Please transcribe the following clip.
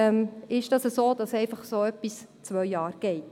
Vielleicht ist es einfach so, dass dergleichen zwei Jahre braucht.